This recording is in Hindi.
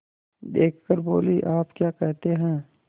देख कर बोलीआप क्या कहते हैं